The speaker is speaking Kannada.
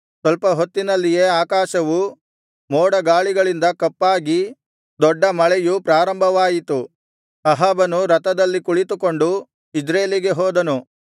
ಸ್ವಲ್ಪ ಹೊತ್ತಿನಲ್ಲಿಯೇ ಆಕಾಶವು ಮೋಡಗಾಳಿಗಳಿಂದ ಕಪ್ಪಾಗಿ ದೊಡ್ಡ ಮಳೆಯು ಪ್ರಾರಂಭವಾಯಿತು ಅಹಾಬನು ರಥದಲ್ಲಿ ಕುಳಿತುಕೊಂಡು ಇಜ್ರೇಲಿಗೆ ಹೋದನು